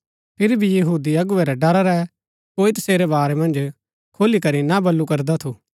फिरी भी यहूदी अगुवै रै ड़रा रै कोई तसेरै बारै मन्ज खुलीकरी ना बल्लू करदा थू